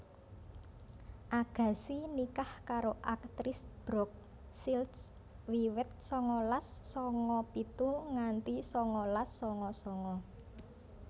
Agassi nikah karo aktris Brooke Shields wiwit sangalas sanga pitu nganti sangalas sanga sanga